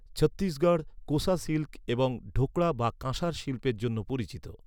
Chhattisgarh 'Kosa silk' এবং 'ঢোকরা' বা কাঁসার শিল্পের জন্য পরিচিত।